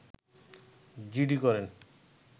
GD করেন